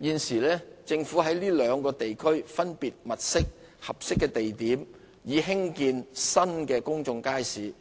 現時政府在這兩個地區分別物色合適的地點，以興建新的公眾街市。